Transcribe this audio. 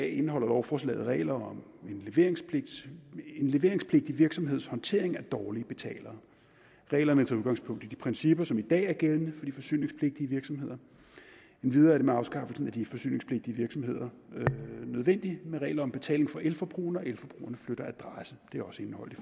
indeholder lovforslaget regler om en leveringspligtig virksomheds håndtering af dårlige betalere reglerne tager udgangspunkt i de principper som i dag er gældende for de forsyningspligtige virksomheder endvidere er det med afskaffelsen af de forsyningspligtige virksomheder nødvendigt med regler om betaling for elforbrugerne flytter adresse det er også indeholdt i